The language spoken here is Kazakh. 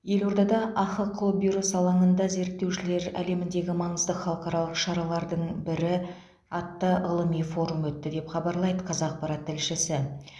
елордада ахқо бюросы алаңында зерттеушілер әлеміндегі маңызды халықаралық шаралардың бірі атты ғылыми форум өтті деп хабарлайды қазақпарат тілшісі